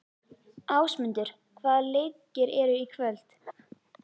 Ásmundur, hvaða leikir eru í kvöld?